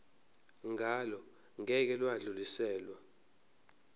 ngalo ngeke lwadluliselwa